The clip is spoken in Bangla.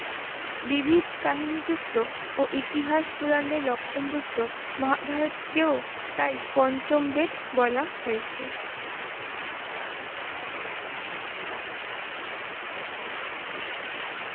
বিবিধ কাহিনী যুক্ত ও ইতিহাস পুরাণের লক্ষণ যুক্ত মহাভারতকেও তাই পঞ্চমবেদ বলা হয়েছে।